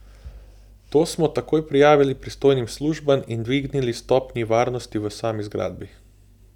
To smo takoj prijavili pristojnim službam in dvignili stopnji varnosti v sami zgradbi.